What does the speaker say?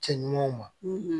Cɛ ɲumanw ma